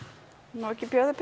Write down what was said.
má ekki bjóða